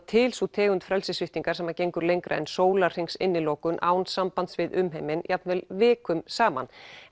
til sú tegund frelsissviptingar sem gengur lengra en sólarhrings innilokun án sambands við umheiminn jafnvel vikum saman